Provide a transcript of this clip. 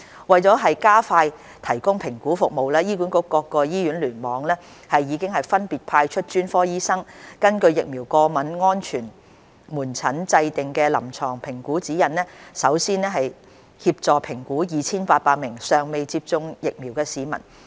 為加快提供評估服務，醫管局各醫院聯網已分別派出專科醫生，根據疫苗過敏安全門診制訂的臨床評估指引，首先協助評估約 2,800 名尚未接種疫苗的市民。